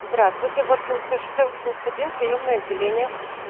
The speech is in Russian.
здравствуйте воткинское шоссе восемьдесят один приёмное отделение